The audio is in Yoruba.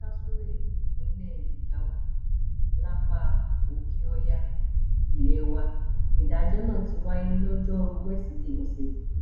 ìlú kazuure nípínlẹ jigawa lápá òkèọya ilẹ̀ wa nìdáájọ náà ti wáyé lọjọrùú wẹsídẹẹ ọsẹ yìí